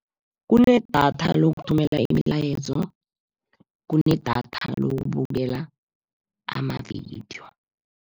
Kunedatha lokuthumela imilayezo, kunedatha lokubukela amavidiyo.